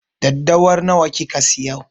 Daddawar nawa kika siyo?